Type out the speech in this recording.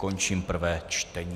Končím prvé čtení.